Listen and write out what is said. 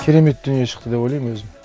керемет дүние шықты деп ойлаймын өзім